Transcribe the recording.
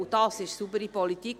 Dies ist saubere Politik.